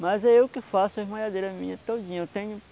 Mas é eu que faço as malhadeiras minhas todinha. Eu tenho